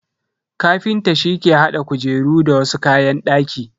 Kafinta shi ke hada kujeru da wasu kayan daki.